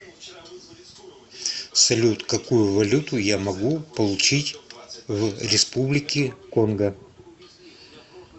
салют какую валюту я могу получить в республике конго